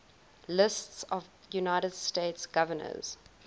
lists of united states governors